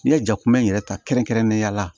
N'i ye jakuba in yɛrɛ ta kɛrɛnkɛrɛnnenya la